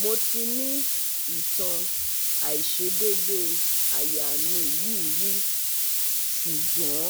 Mo ti ni itan aisedede aya mi yi ri sugbon